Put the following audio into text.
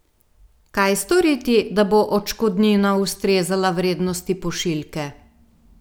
Kaj storiti, da bo odškodnina ustrezala vrednosti pošiljke?